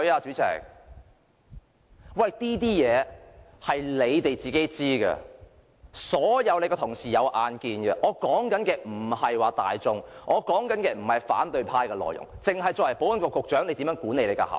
這些事署方自己知道，所有同事都有目共睹，我不是說市民大眾，不是反對派的看法，而是作為保安局局長，你如何管理下屬？